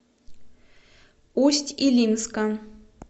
усть илимска